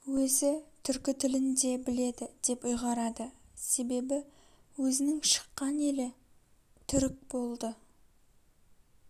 өзі түркі тілінде біледі деп ұйғарады себебі өзінің шыққан елі түрік болды